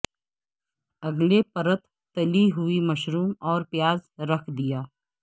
اگلے پرت تلی ہوئی مشروم اور پیاز رکھ دیا